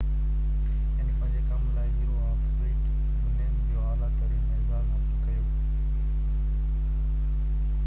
هن پنهنجي ڪم لاءِ، هيرو آف سويئيٽ يونين جو اعليٰ ترين اعزاز حاصل ڪيو